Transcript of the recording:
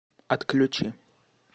отключи